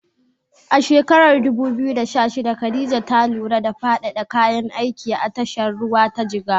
A shekarar 2016, Khadija ta lura da faɗaɗa kayan aiki a tashar ruwa ta Jigawa.